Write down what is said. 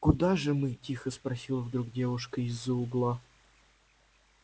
куда же мы тихо спросила вдруг девушка из-за угла